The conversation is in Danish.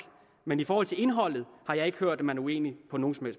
men i forhold til indholdet har jeg ikke hørt at man er uenig på nogen som